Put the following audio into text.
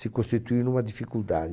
se constituiu numa dificuldade.